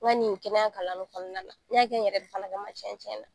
N kɔni ye kɛnɛya kalan nin kɔnɔnala n y'a kɛ n yɛrɛ de kama tiɲɛ-tiɲɛ na